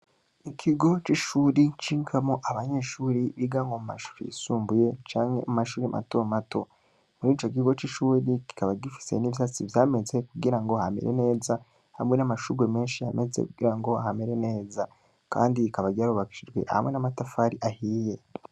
Ikigo c' ishuri cigamwo abanyeshure biga mu mashuri yisumbuye canke mu mashuri mato mato. Muri ico kigo c' ishuri Kikaba gifise n' ivyatsi vyinshi vyameze kugirango hamere neza, hamwe n' amashurwe menshi yahameze kugirango hamere neza. Kandi rikaba ryarubakishijwe hamwe n' amatafari ahiye.